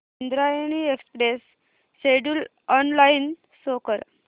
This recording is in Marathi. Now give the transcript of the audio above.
Indrayani express schedule online show कर